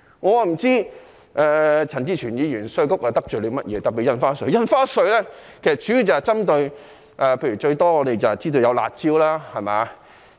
我不知稅務局哪裏得罪陳志全議員，特別是據我所知，印花稅主要是針對"辣招"，